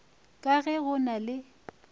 ka ge go na le